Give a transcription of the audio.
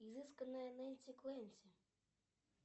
изысканная нэнси клэнси